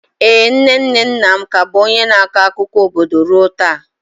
Ee, nne nne nna m ka bụ onye na-akọ akụkọ obodo ruo taa.